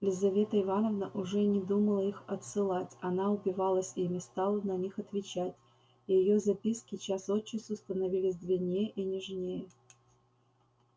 лизавета ивановна уже не думала их отсылать она упивалась ими стала на них отвечать и её записки час от часу становились длиннее и нежнее